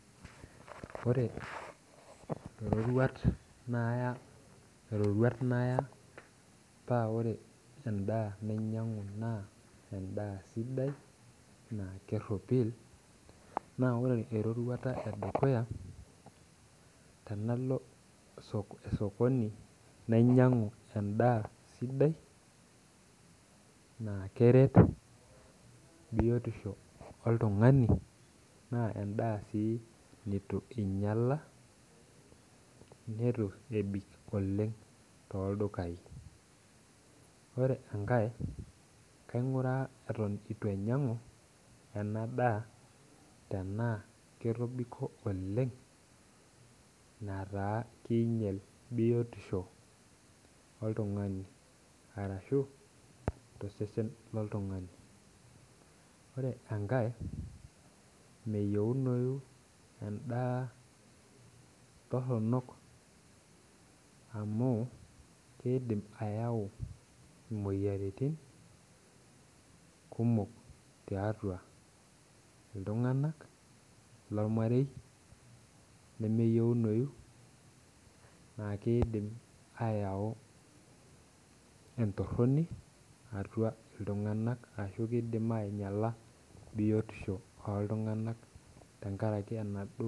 Ore rorwat naya rorwat naya pa ore endaa ninyangu na endaa sidai na keropil na tanalo osokoni nainyangy endaa sidai na keret biotisho oltungani na endaa nitunyala nituebik oleng toldukae ore enkae kainguraa anaa ketobiko oleng metaa keinyal biotisho oltungani ashu tosesen loltungani ore enkae meyieunou endaa toronok amu kidim ayau imoyiaritin kumok tiatua ltunganak lormarei lemeyieuni la kidil ayau entoroni atua ltunganak nakidim ainyala biotisho oltungani tenkaraki enaduo